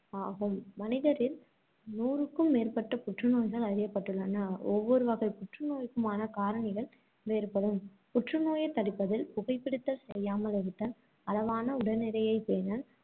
ஆகும். மனிதரில் நூறுக்கும் மேற்பட்ட புற்று நோய்கள் அறியப்பட்டுள்ளன. ஒவ்வொருவகைப் புற்று நோய்க்குமான காரணிகள் வேறுபடும் புற்று நோயைத் தடுப்பதில் புகை பிடித்தல் செய்யாமல் இருத்தல், அளவான உடல்நிறையைப் பேணல்,